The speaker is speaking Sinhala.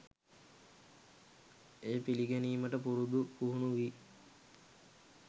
එය පිළිගැනීමට පුරුදු පුහුණු වී